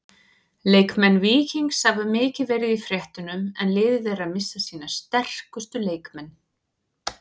Leikmenn Víkings hafa mikið verið í fréttunum en liðið er að missa sína sterkustu leikmenn.